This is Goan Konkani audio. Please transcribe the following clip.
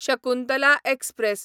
शकुंतला एक्सप्रॅस